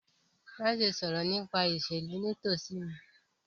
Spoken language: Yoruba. Maṣe sọrọ nipa iṣelu nitosi mi!